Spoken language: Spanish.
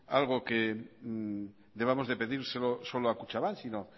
algo que debamos de pedírselo solo a kutxabank sino